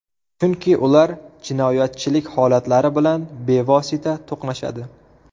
Chunki ular jinoyatchilik holatlari bilan bevosita to‘qnashadi.